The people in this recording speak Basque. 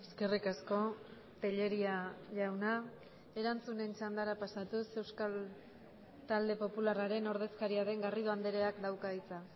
eskerrik asko tellería jauna erantzunen txandara pasatuz euskal talde popularraren ordezkaria den garrido andreak dauka hitza